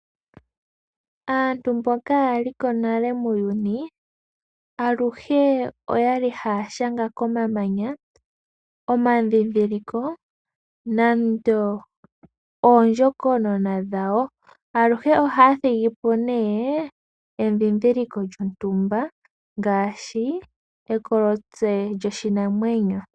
Aantu mboka ya like nale muuyuni, aluhe oya li ha ya shanga komamanya, omandhindhiliko, nande oondjokonona dhawo. Aluhe oha ya thigipo ne, endhindhiliko lyontumba ngaashi ekolotse lyoshinamwenyo.